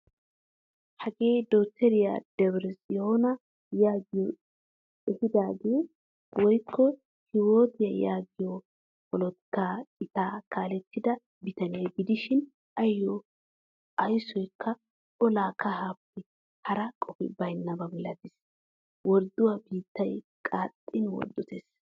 Hagee dokteriyaa debre tsiona yaagiyo ehadige woykko hiwat yaagiyo polotikka cita kaalettida bitaniya gidishin ayo ayssako ola kahaappe hara qofi baynaba milatees. Wordduwaa biittay qaxxin worddottees.